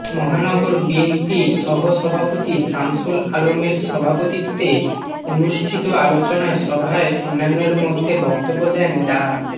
মহানগর বিএনপির সহসভাপতি শামসুল আলমের সভাপতিত্বে অনুষ্ঠিত আলোচনা সভায় অন্যান্যের মধ্যে বক্তব্য দেন ডা